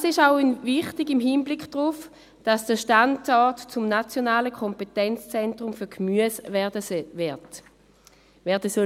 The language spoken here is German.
Dies ist auch im Hinblick darauf wichtig, dass der Standort zum nationalen Kompetenzzentrum für Gemüse werden soll.